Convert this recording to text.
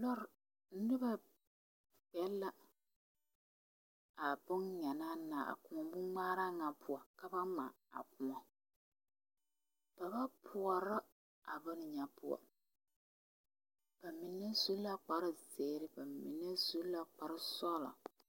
Noba zeŋ la a kõɔ boŋŋmaara ŋa poɔ ka ba ŋmaa a kõɔ ba ba poorɔ a boŋ ŋa poɔ ba mine su la kparre zeere ba mine su la kparre sɔgla.